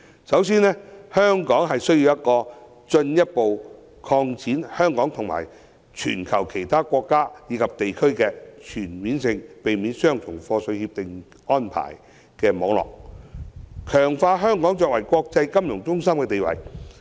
首先，香港需進一步擴展與全球其他國家及地區的全面性協定網絡，強化香港的國際金融中心地位。